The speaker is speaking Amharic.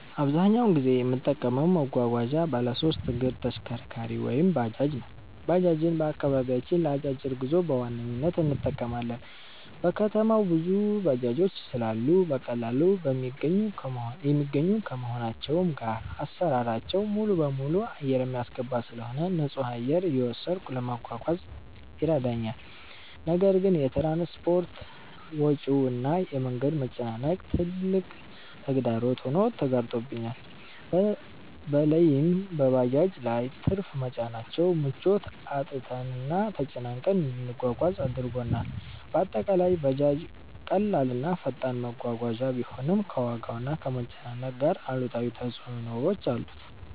አብዛኛውን ጊዜ የምጠቀመው መጓጓዣ ባለሶስት እግር ተሽከርካሪ(ባጃጅ) ነው። ባጃጅን በአከባቢያችን ለ አጫጭር ጉዞ በዋነኝነት እንጠቀማለን። በከተማው ብዙ ባጃጆች ስላሉ በቀላሉ የሚገኙ ከመሆናቸውም ጋር አሰራራቸው ሙሉበሙሉ አየር የሚያስገባ ስለሆነ ንፁህ አየር እየወሰዱ ለመጓዝ ይረዳል። ነገር ግን የ ትራንስፖርት ወጪው እና የ መንገድ መጨናነቅ ትልቅ ተግዳሮት ሆኖ ተጋርጦብናል። በለይም በባጃጆች ላይ ትርፍ መጫናቸው ምቾት አጥተንና ተጨናንቀን እንድንጓጓዝ አድርጎናል። በአጠቃላይ ባጃጅ ቀላል እና ፈጣን መጓጓዣ ቢሆንም፣ ከዋጋና ከመጨናነቅ ጋር አሉታዊ ተፅዕኖዎች አሉት።